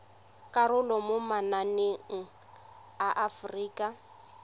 karolo mo mananeng a aforika